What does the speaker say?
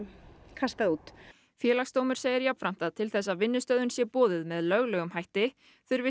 kastað út Félagsdómur segir jafnframt að til þess að vinnustöðvun sé boðuð með lögmætum hætti þurfi